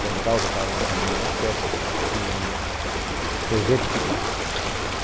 pontal do Paranapanema, lá perto, em Presidente Pitácio.